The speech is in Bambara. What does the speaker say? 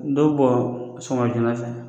Dɔw bɔ sɔɔma joona fɛ